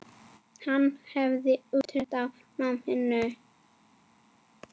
Hann gerði úttekt á náminu.